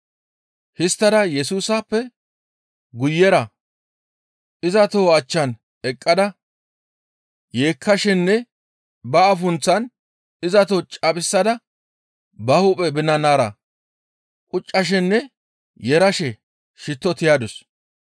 Histtada Yesusappe guyera iza toho achchan eqqada yeekkashenne ba afunththan iza toho caphisada ba hu7e binanara quccashenne yeerashe shittoza tiyadus.